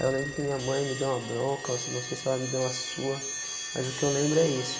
Aí eu lembro que minha mãe me dê uma bronca, ou se não sei se ela me dê uma surra, mas o que eu lembro é isso.